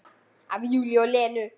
Af Júlíu og Lenu.